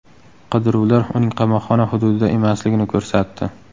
Qidiruvlar uning qamoqxona hududida emasligini ko‘rsatdi.